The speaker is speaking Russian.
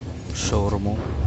шаурму